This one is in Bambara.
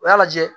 U y'a lajɛ